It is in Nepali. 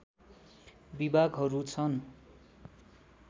विभागहरू छन्